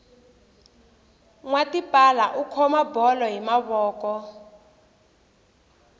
nwa tipala u khoma bolo hi mavoko